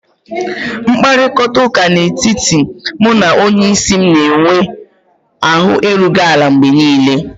Mkparịta ụka n'etiti mụ na onyeisi m na-enwe ahụ erughị ala mgbe niile